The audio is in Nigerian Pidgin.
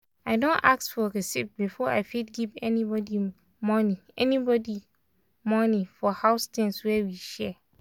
i don ask for receipts before i fit give anybody money anybody money for house things wey we share.